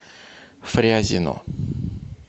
фрязино